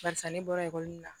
Barisa ne bɔra ekɔli la